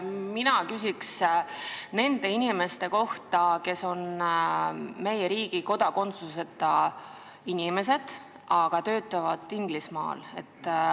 Mina küsin nende inimeste kohta, kes on meie riigi kodakondsuseta, aga töötavad Inglismaal.